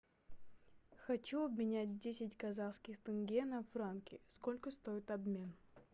хочу обменять десять казахских тенге на франки сколько стоит обмен